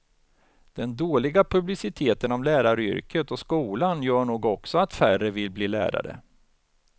Den dåliga publiciteten om läraryrket och skolan gör nog också att färre vill bli lärare.